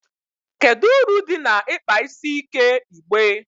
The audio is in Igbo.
kedu uru dị na ịkpa isi ike igbe?